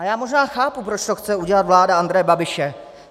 A já možná chápu, proč to chce udělat vláda Andreje Babiše.